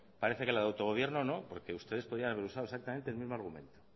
parece que la del autogobierno no porque ustedes podían haber usado el mismo argumento